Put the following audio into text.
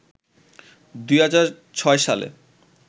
২০০৬ সালে